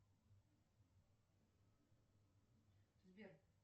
сбер